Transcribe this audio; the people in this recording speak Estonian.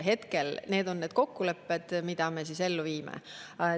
Hetkel on need kokkulepped, mida me ellu viime.